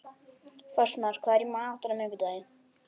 Fossmar, hvað er í matinn á miðvikudaginn?